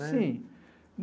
Sim.